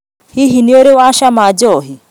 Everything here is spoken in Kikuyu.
Hihi nĩũrĩ wa cama njohi?